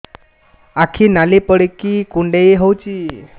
ଆଖି ନାଲି ପଡିକି କୁଣ୍ଡେଇ ହଉଛି